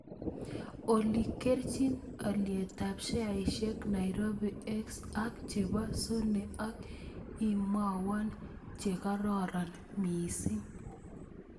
Olly kerchin alyetap sheaisiekap nairobi x ak che po sony ak imwawon che kararon miising'